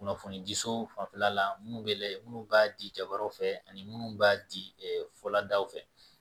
Kunnafoni di so fanfɛla la minnu bɛ lajɛ minnu b'a di jabarɛw fɛ ani minnu b'a di fɔladaw fɛ